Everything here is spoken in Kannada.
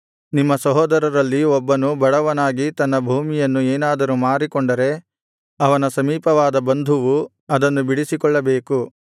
ನಿಮ್ಮ ಸಹೋದರರಲ್ಲಿ ಒಬ್ಬನು ಬಡವನಾಗಿ ತನ್ನ ಭೂಮಿಯನ್ನು ಏನಾದರೂ ಮಾರಿಕೊಂಡರೆ ಅವನ ಸಮೀಪವಾದ ಬಂಧುವು ಅದನ್ನು ಬಿಡಿಸಿಕೊಳ್ಳಬೇಕು